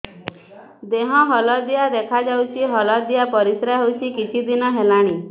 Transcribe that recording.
ଦେହ ହଳଦିଆ ଦେଖାଯାଉଛି ହଳଦିଆ ପରିଶ୍ରା ହେଉଛି କିଛିଦିନ ହେଲାଣି